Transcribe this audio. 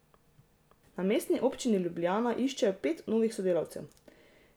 Na Mestni občini Ljubljana iščejo pet novih sodelavcev.